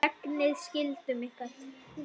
Gegnið skyldum ykkar!